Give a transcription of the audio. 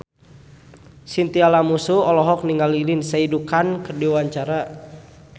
Chintya Lamusu olohok ningali Lindsay Ducan keur diwawancara